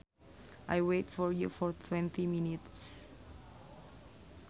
I waited for you for twenty minutes